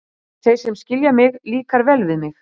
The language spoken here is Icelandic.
Þeir sem skilja mig, líkar vel við mig.